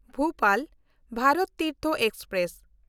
Bhopal Bharat Tirth express